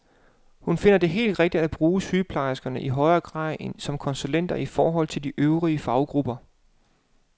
Hun finder det helt rigtigt at bruge sygeplejerskerne i højere grad som konsulenter i forhold til de øvrige faggrupper.